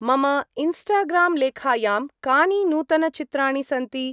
मम इन्स्टाग्रां-लेखायां कानि नूतन-चित्राणि सन्ति?